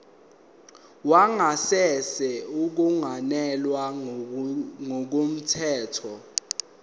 wangasese ungenelwe ngokungemthetho